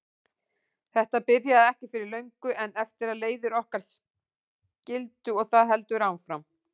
Þetta byrjaði ekki fyrr en löngu eftir að leiðir okkar skildi og það heldur áfram.